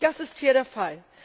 Das ist hier der Fall.